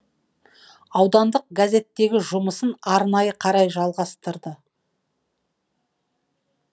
аудандық газеттегі жұмысын қарай жалғастырды